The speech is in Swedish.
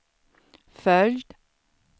följd